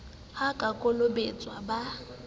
ha a ka kolobetswa ba